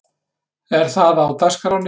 Er það á dagskránni?